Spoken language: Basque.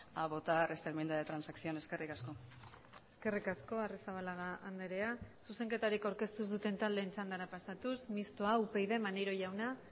a votar esta enmienda de transacción eskerrik asko eskerrik asko arrizabalaga andrea zuzenketarik aurkeztu ez duten taldeen txandara pasatuz mistoa upyd maneiro jauna